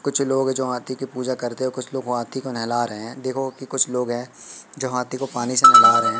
कुछ लोग जो हाथी की पूजा करते कुछ लोगों हाथी को नहला रहे है देखो की कुछ लोग हैं जो हाथी को पानी से नहला रहे है।